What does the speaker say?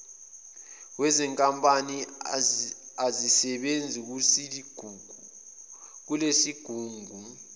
wezinkampani azisebenzi kulesigungu